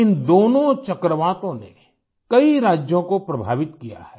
इन दोनों चक्रवातों ने कई राज्यों को प्रभावित किया है